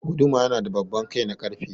Guduma yana da babban kai na ƙarfe.